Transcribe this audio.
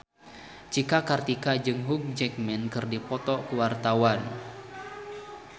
Cika Kartika jeung Hugh Jackman keur dipoto ku wartawan